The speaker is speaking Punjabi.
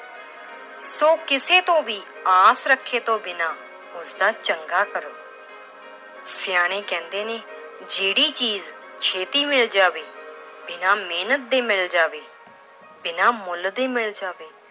ਸੋ ਕਿਸੇ ਤੋਂ ਵੀ ਆਸ ਰੱਖੇ ਤੋਂ ਬਿਨਾਂ ਉਸਦਾ ਚੰਗਾ ਕਰੋ ਸਿਆਣੇ ਕਹਿੰਦੇ ਨੇ ਜਿਹੜੀ ਚੀਜ਼ ਛੇਤੀ ਮਿਲ ਜਾਵੇ, ਬਿਨਾਂ ਮਿਹਨਤ ਦੇ ਮਿਲ ਜਾਵੇ, ਬਿਨਾਂ ਮੁੱਲ ਦੇ ਮਿਲ ਜਾਵੇ,